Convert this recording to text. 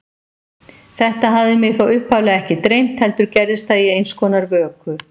Þetta hafði mig þó upphaflega ekki dreymt, heldur gerðist það í einskonar vöku.